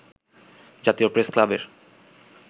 জাতীয় প্রেসক্লাবের